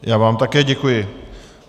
Já vám také děkuji.